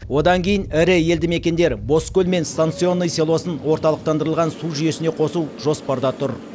одан кейін ірі елді мекендер боскөл мен станционный селосын орталықтандырылған су жүйесіне қосу жоспарда тұр